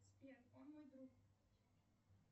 сбер он мой друг